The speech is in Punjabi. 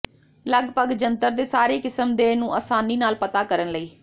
ਲੱਗਭਗ ਜੰਤਰ ਦੇ ਸਾਰੇ ਕਿਸਮ ਦੇ ਨੂੰ ਆਸਾਨੀ ਨਾਲ ਪਤਾ ਕਰਨ ਲਈ